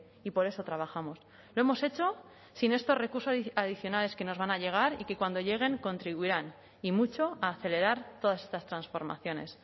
y por eso trabajamos lo hemos hecho sin estos recursos adicionales que nos van a llegar y que cuando lleguen contribuirán y mucho a acelerar todas estas transformaciones